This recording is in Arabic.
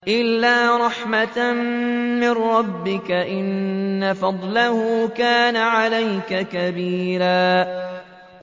إِلَّا رَحْمَةً مِّن رَّبِّكَ ۚ إِنَّ فَضْلَهُ كَانَ عَلَيْكَ كَبِيرًا